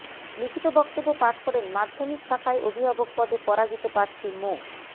লিখিত বক্তব্য পাঠ করেন মাধ্যমিক শাখায় অভিভাবক পদে পরাজিত প্রার্থী মো